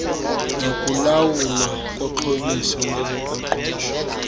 nokulawulwa koxhobiso ngezoqoqosho